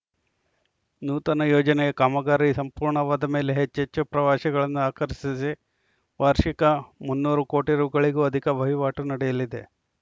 ನೂತನ ಯೋಜನೆಯ ಕಾಮಗಾರಿ ಸಂಪೂರ್ಣವಾದ ಮೇಲೆ ಹೆಚ್ಚೆಚ್ಚು ಪ್ರವಾಸಿಗಳನ್ನು ಆಕರ್ಷಿಸಿ ವಾರ್ಷಿಕ ಮುನ್ನೂರು ಕೋಟಿ ರುಪಯಿಗಳಿಗೂ ಅಧಿಕ ವಹಿವಾಟು ನಡೆಯಲಿದೆ